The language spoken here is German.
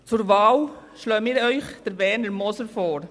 Zur Wahl schlagen wir Ihnen Werner Moser vor.